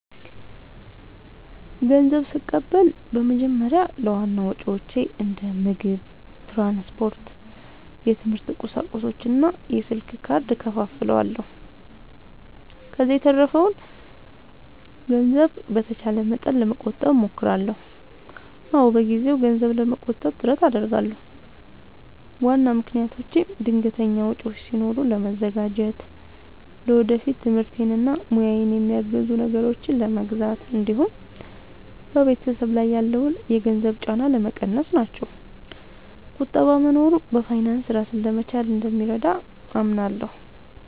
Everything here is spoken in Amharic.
ንዘብ ስቀበል በመጀመሪያ ለዋና ወጪዎቼ እንደ ምግብ፣ ትራንስፖርት፣ የትምህርት ቁሳቁሶች እና የስልክ ካርድ እከፋፍለዋለሁ። ከዚያ የተረፈውን ገንዘብ በተቻለ መጠን ለመቆጠብ እሞክራለሁ። አዎ፣ በየጊዜው ገንዘብ ለመቆጠብ ጥረት አደርጋለሁ። ዋና ምክንያቶቼም ድንገተኛ ወጪዎች ሲኖሩ ለመዘጋጀት፣ ለወደፊት ትምህርቴን እና ሙያዬን የሚያግዙ ነገሮችን ለመግዛት እንዲሁም በቤተሰብ ላይ ያለውን የገንዘብ ጫና ለመቀነስ ናቸው። ቁጠባ መኖሩ በፋይናንስ ራስን ለመቻል እንደሚረዳ አምናለሁ።